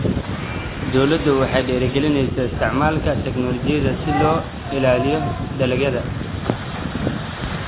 Dawladdu waxay dhiirigelinaysaa isticmaalka tignoolajiyada si loo ilaaliyo dalagyada.